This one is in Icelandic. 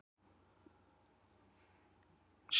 Sjá nánar á vef Hafró